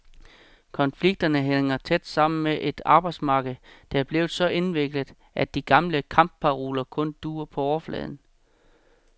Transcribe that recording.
Konflikterne hænger tæt sammen med et arbejdsmarked, der er blevet så indviklet, at de gamle kampparoler kun duer på overfladen.